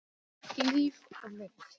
Líf og mynd